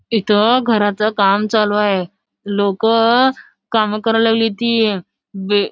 इथं घराच काम चालू आहे लोक काम करायला आली होती बे --